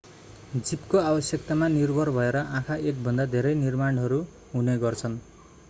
जीवको आवश्यकतामा निर्भर भएर आँखा एकभन्दा धेरै निर्माणहरू हुने गर्छन्